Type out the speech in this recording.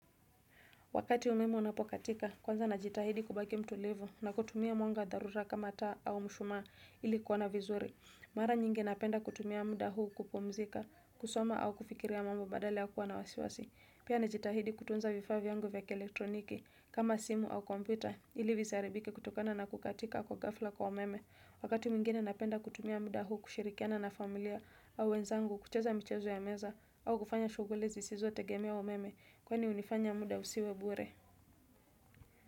Wakati umemo unapokatika, kwanza najitahidi kubaki mtulivu na kutumia mwanga darura kama taa au mshumaa ili kuwona vizuri. Mara nyingi napenda kutumia muda huu kupumzika, kusoma au kufikiria mambo badale ya kuwa na wasiwasi. Pia najitahidi kutunza vifaa vyangu vya kielektroniki kama simu au kompyuta ili vizaribike kutokana na kukatika kwa gafla kwa umeme. Wakati mingine napenda kutumia muda huu kushirikiana na familia au wenzangu kucheza mchezo ya meza au kufanya shuguli zisizo tegemea umeme. Kwani unifanya muda usiwebure.